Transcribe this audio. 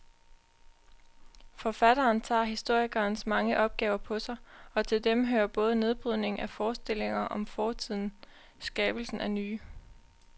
Forfatteren tager historikerens mange opgaver på sig, og til dem hører både nedbrydningen af forestillinger om fortiden skabelsen af nye.